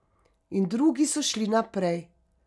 In drugi so šli naprej.